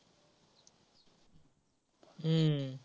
हं